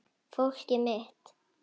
Fólkið mitt.